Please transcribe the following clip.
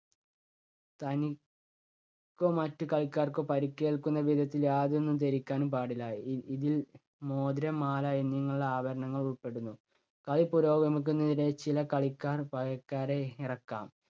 തനി~ക്കോ മറ്റു കളിക്കാർക്കോ പരുക്കേൽക്കുന്ന വിധത്തിൽ യാതൊന്നും ധരിക്കാനും പാടില്ല. ഇ~ഇതിൽ മോതിരം, മാല എന്നിങ്ങനെ ഉള്ള ആഭരണങ്ങൾ ഉൾപ്പെടുന്നു. കളി പുരോഗമിക്കുന്നതിനിടെ ചില കളിക്കാർ പകരക്കാരെ ഇറക്കാം.